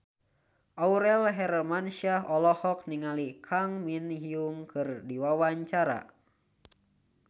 Aurel Hermansyah olohok ningali Kang Min Hyuk keur diwawancara